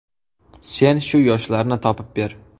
Sen shu yoshlarni topib ber.